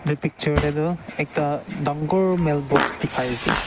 edu picture taetu ekta dangor mailbox dikhaiase.